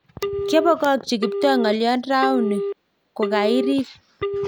kiabongokchi Kiptoo ngolion rauni ko kairir